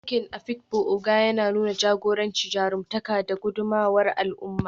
Taken Afikpo Ogo yana nuna jagoranci, jarumtaka, da gudummawar al'umma.